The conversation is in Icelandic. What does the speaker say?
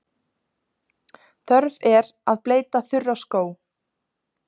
Þörf er að bleyta þurra skó.